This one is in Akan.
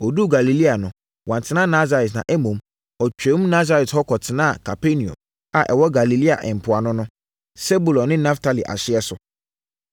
Ɔduruu Galilea no, wantena Nasaret, na mmom, ɔtwaam Nasaret hɔ kɔtenaa Kapernaum a ɛwɔ Galilea mpoano no, Sebulon ne Naftali ahyeɛ so.